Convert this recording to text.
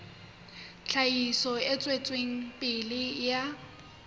tlhahiso e tswetseng pele ya